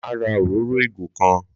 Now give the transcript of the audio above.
Máa ra òróró ìgò kan.